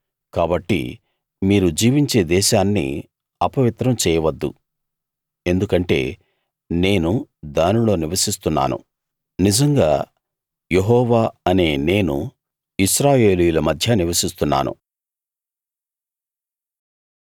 కాబట్టి మీరు జీవించే దేశాన్ని అపవిత్రం చేయవద్దు ఎందుకంటే నేను దానిలో నివసిస్తున్నాను నిజంగా యెహోవా అనే నేను ఇశ్రాయేలీయుల మధ్య నివసిస్తున్నాను